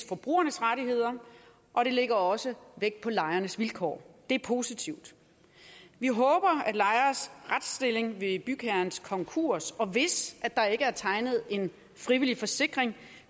forbrugernes rettigheder og de lægger også vægt på lejernes vilkår det er positivt vi håber at lejeres retsstilling ved bygherrens konkurs hvis der ikke er tegnet en frivillig forsikring